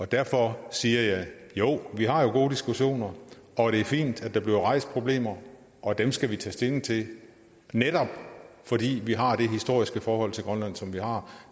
derfor siger jeg jo vi har gode diskussioner og det er fint at der bliver rejst problemer og dem skal vi tage stilling til netop fordi vi har det historiske forhold til grønland som vi har